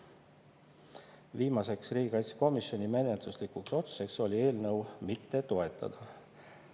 Viimane riigikaitsekomisjoni menetluslik otsus oli eelnõu mitte toetada.